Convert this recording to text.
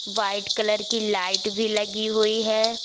White colour की light भी लगी हुई है।